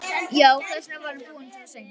Já, þess vegna var hann búinn svona seint.